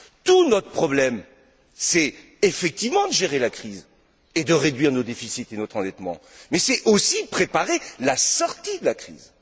Tout notre problème, c'est effectivement de gérer la crise et de réduire nos déficits et notre endettement, mais c'est aussi de préparer la sortie de la crise.